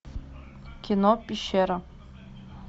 кино пещера